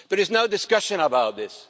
There is no discussion about this.